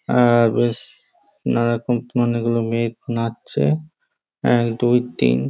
আর নানানরকম অনেকগুলো মেয়ে নাচ্ছে এক দুই তিন।